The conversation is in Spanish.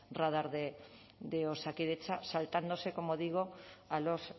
radar de osakidetza saltándose como digo a los